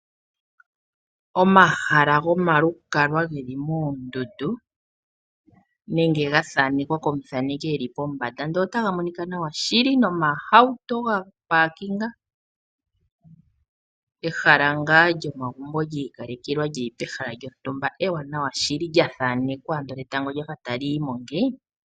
Omahala gomalukalwa geli moondundu nenge ga thanekwa komuthaneki eli pombanda ndele otaga monika nawa shili nomahauto ga kankamekwa . Ehala ngaa lyomagumbo lyiikalekelwa lili pehala lyontumba ewanawa shili sha thanekwa ando etango lyafa tali yimo.